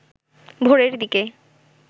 ভোরের দিকে